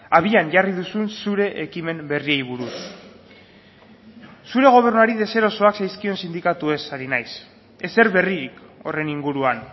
abian jarri duzun zure ekimen berriei buruz zure gobernuari deserosoak zaizkion sindikatuez ari naiz ezer berririk horren inguruan